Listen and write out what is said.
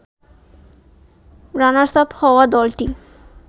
runners up হওয়া দলটি